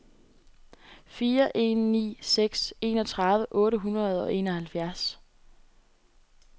fire en ni seks enogtredive otte hundrede og enoghalvfjerds